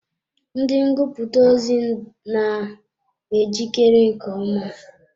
Ndị ngụputa ozi na ejikere nke ọma.